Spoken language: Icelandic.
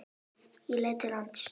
Ég leit til lands.